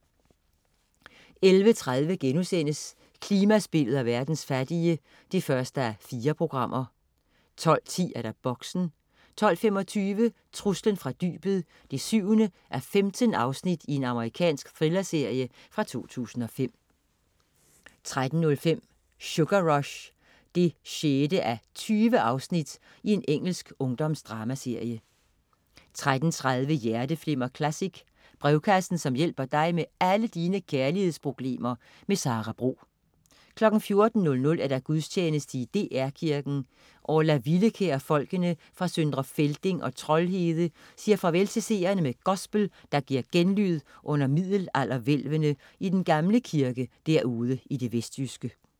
11.30 Klimaspillet og verdens fattige 1:4* 12.10 Boxen 12.25 Truslen fra dybet 7:15. Amerikansk thrillerserie fra 2005 13.05 Sugar Rush 6:20. Engelsk ungdomsdramaserie 13.30 Hjerteflimmer Classic. Brevkassen som hjælper dig med alle dine kærlighedsproblemer. Sara Bro 14.00 Gudstjeneste i DR Kirken. Orla Villekjær og folkene fra Sdr. Felding og Troldhede siger farvel til seerne med gospel, der giver genlyd under middelalderhvælvene i den gamle kirke derude i det vestjyske